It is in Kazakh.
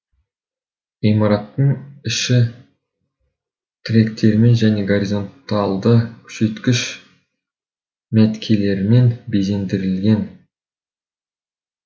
ғимараттың іші тіректермен және горизонталды күшейткіш мәткелерімен безендірілген